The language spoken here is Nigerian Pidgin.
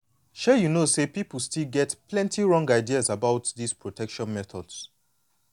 shay you know say people still get plenty wrong ideas about this protection methods.